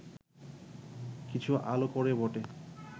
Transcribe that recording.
কিছু আলো করে বটে